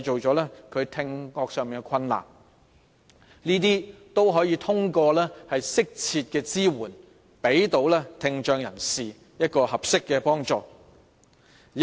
這些問題都可以透過適切的支援，向聽障人士提供合適的幫助來解決。